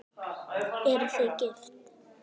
Eruð þið gift?